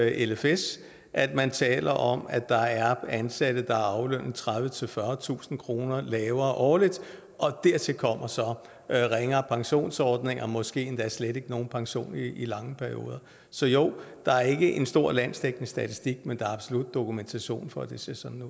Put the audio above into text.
lfs at man taler om at der er ansatte der er aflønnet tredivetusind fyrretusind kroner lavere årligt og dertil kommer så ringere pensionsordninger måske endda slet ikke nogen pension i lange perioder så jo der er ikke en stor landsdækkende statistik men der er absolut dokumentation for at det ser sådan